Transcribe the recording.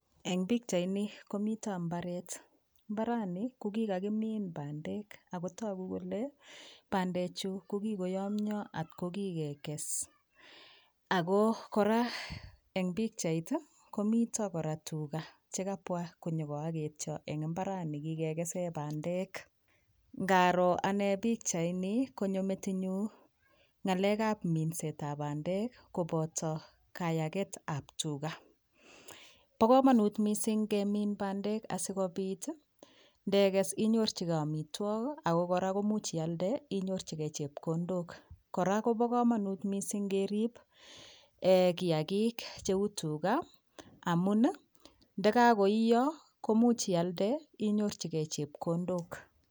Eng pikchaini komito mbaret, mbaranii kokikakimin bandek akotoku kole bandechu kokikoyomyo atkokikekes ako kora eng pikchait komito kora tuga chekabwa konyokoogetyo eng imbarani kikekese bandek ngaroo anee pikchaini konyo metinyu ngalek ab mindset ab bandek koboto kayaket ab tuga bobkomonut mising kemin bandek asikobit ndekes inyorchigei omitwok ako kora komuch ialde inyorchigei chepkondok kora Kobo komonut mising kerip kiyakik cheu tuga amun ndikakoiyo komuch ialde inyorchigei chepkondok.